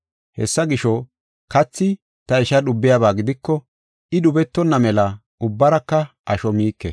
Hessa gisho, kathi ta isha dhubiyaba gidiko, I dhubetonna mela ubbaraka asho miike.